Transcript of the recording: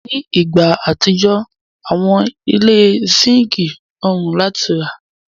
Ni igba atijọ, awọn ile síńkì rọrùn láti rà.